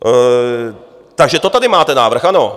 Takže to tady máte návrh, ano.